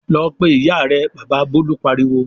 "Lọ pe ìyá rẹ!" Bàbá Bólú pariwo.